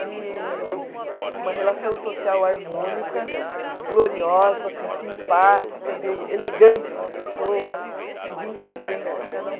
De uma relação social harmônica, gloriosa, assim simpática, de elegante com as pessoas e de entendimento de cada um.